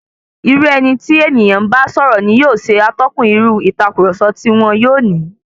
Irú eni tí ènìyàn ń bá sọ̀rọ̀ ni yóò ṣe atọ́kùn irú ìtàkurọ̀sọ tí wọn yóò ní.